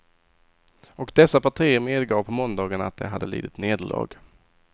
Och dessa partier medgav på måndagen att de hade lidit nederlag.